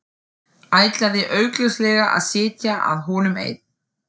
Ætlaði augljóslega að sitja að honum ein.